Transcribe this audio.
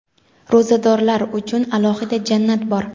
Ro‘zadorlar uchun alohida jannat bor.